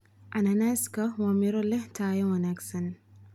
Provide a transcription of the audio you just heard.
Cananaaska waa miro leh tayo wanaagsan.